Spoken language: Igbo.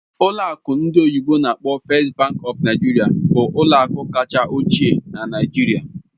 Ụlọ akụ ndị oyibo n'akpọ "First Bank of Nigeria" bụ ụlọ akụ kacha ochie na Nigeria.